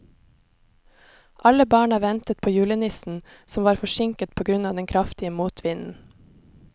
Alle barna ventet på julenissen, som var forsinket på grunn av den kraftige motvinden.